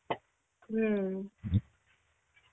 হম.